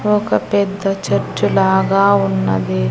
ఒక పెద్ద చెట్టు లాగా ఉన్నది.